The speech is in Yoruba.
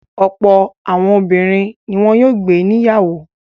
Ọ̀pọ̀ àwọn obìnrin ni wọn yóò gbé níyàwó.